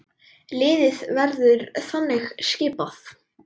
Liðið verður þannig skipað